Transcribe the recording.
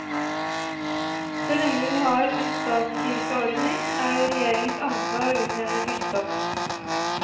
Så lenge vi har en statskirkeordning, er det regjeringens ansvar å utnevne biskop.